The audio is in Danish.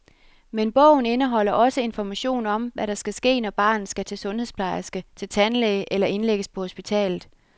Men bogen indeholder også information om, hvad der skal ske når barnet skal til sundhedsplejerske, til tandlæge eller indlægges på hospitalet.